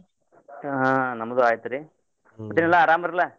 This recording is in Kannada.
ಹಾ ನಮ್ದು ಆಯ್ತರೀ. ಮತ್ತೇನೆಲ್ಲಾ ಆರಾಮ್ರಲ್ಲ?